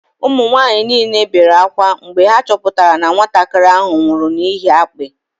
Ụmụ nwanyị niile bere ákwá mgbe ha chọpụtara na nwatakịrị ahụ nwụrụ n'ihi akpị